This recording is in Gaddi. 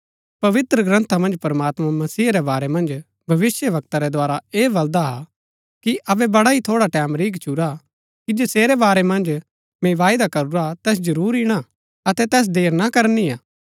पवित्रग्रन्था मन्ज प्रमात्मां मसीहा रै बारै मन्ज भविष्‍यवक्ता रै द्धारा ऐह बलदा हा कि अबै बड़ा ही थोड़ा टैमं रैई गछूरा कि जसेरै बारै मन्ज मैंई वायदा करूरा तैस जरूर ईणा अतै तैस देर ना करनी हा